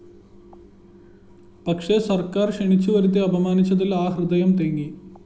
പക്ഷേ സര്‍ക്കാര്‍ ക്ഷണിച്ചുവരുത്തി അപമാനിച്ചതില്‍ ആ ഹൃദയം തേങ്ങി